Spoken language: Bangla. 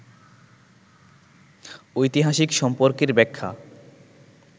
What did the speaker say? ঐতিহাসিক সম্পর্কের ব্যাখ্যা